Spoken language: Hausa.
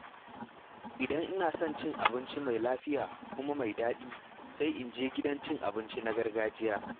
Idan ina son abinci mai lafiya kuma mai daɗi, sai in je gidan cin abinci na gargajiya.